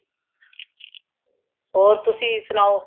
ਹੋਰ ਤੁਸੀਂ ਸੁਨਾਓ